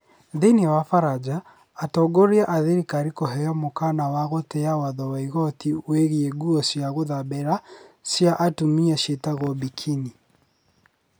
Thiinii wa baranja, atongoria a thirikari kũheo mũkaana wa gũtĩa watho wa igoti wĩgiĩ nguo cia gũthambĩra cia atumia ciĩtagwo burkini.